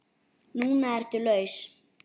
Núna ertu laus.